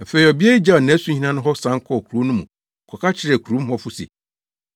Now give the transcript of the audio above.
Afei ɔbea yi gyaw nʼasuhina no hɔ san kɔɔ kurow no mu kɔka kyerɛɛ kurom hɔfo se,